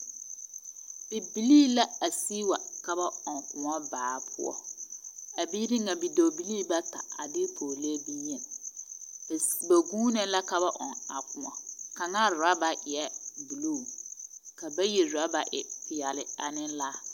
Bibilii la a sig wa ka ba ɔŋ kõɔ baa poɔ. A biiri ŋa bidɔɔbili bata a de pɔɔlee bonyen. S... ba guuno la ka ba ɔŋ a kõɔ. Kaŋaa raba eɛɛ buluu, ka bayi rɔba e peɛle ane laa.